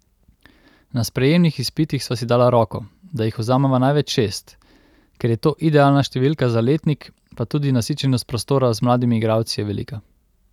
Na sprejemnih izpitih sva si dala roko, da jih vzameva največ šest, ker je to idealna številka za letnik, pa tudi nasičenost prostora z mladimi igralci je velika.